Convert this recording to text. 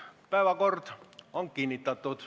Päevakord on kinnitatud.